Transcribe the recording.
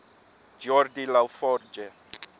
geordi la forge